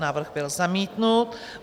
Návrh byl zamítnut.